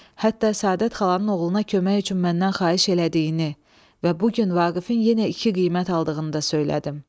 Hətta Səadət xalanın oğluna kömək üçün məndən xahiş elədiyini və bu gün Vaqifin yenə iki qiymət aldığını da söylədim.